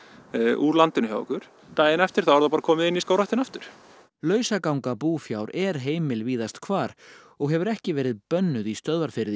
úr landinu hjá okkur daginn eftir er það bara komið inn í skógræktina aftur lausaganga búfjár er heimil víðast hvar og hefur ekki verið bönnuð í Stöðvarfirði